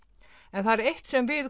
en það er eitt sem við